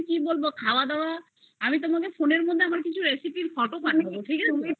তোমায় আমি তোমায় আমার recipe র কিছু photo পাঠিয়ে দিচ্ছি ঠিক আছে